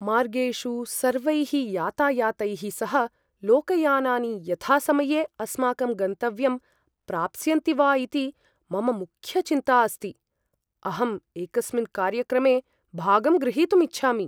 मार्गेषु सर्वैः यातायातैः सह लोकयानानि यथासमये अस्माकं गन्तव्यं प्राप्स्यन्ति वा इति मम मुख्यचिन्ता अस्ति। अहं एकस्मिन् कार्यक्रमे भागं ग्रहीतुं इच्छामि।